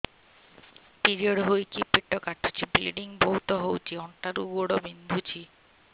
period ହୋଇକି ପେଟ କାଟୁଛି ବ୍ଲିଡ଼ିଙ୍ଗ ବହୁତ ହଉଚି ଅଣ୍ଟା ରୁ ଗୋଡ ବିନ୍ଧୁଛି